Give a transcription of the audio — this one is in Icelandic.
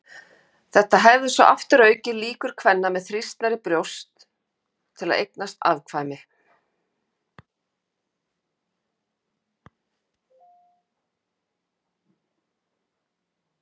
Þetta hefði svo aftur aukið líkur kvenna með þrýstnari brjóst til að eignast afkvæmi.